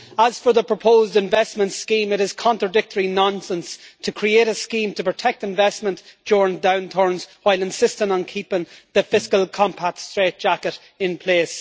As for the proposed investment scheme, it is contradictory nonsense to create a scheme to protect investment during downturns while insisting on keeping the Fiscal Compact strait jacket in place.